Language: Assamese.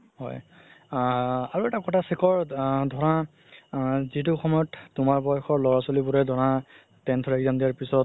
হয় আ আৰু এটা কথা শেখাৰ ধৰা আ যিতো সময়ত তুমাৰ বয়সৰ ছোৱালি বোৰে ধৰা tenth ৰ exam দিয়া পিছত